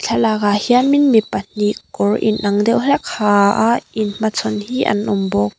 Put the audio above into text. thlalak ah hianmin mi pahnih kawr inang deuh hlek a ha a in hmachhawn hi an awm bawk.